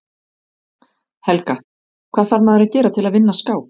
Helga: Hvað þarf maður að gera til að vinna skák?